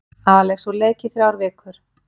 Alex úr leik í þrjár vikur